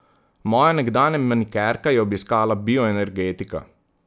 Moja nekdanja manikerka je obiskala bioenergetika.